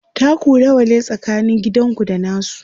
taku nawa ne tsakanin gidanku da nasu?